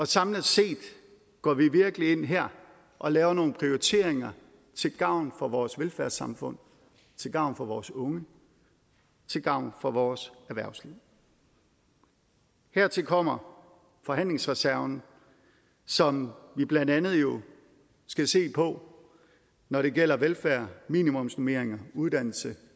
samlet set går vi virkelig ind her og laver nogle prioriteringer til gavn for vores velfærdssamfund til gavn for vores unge til gavn for vores erhvervsliv hertil kommer forhandlingsreserven som vi jo blandt andet skal se på når det gælder velfærd minimumsnormeringer uddannelse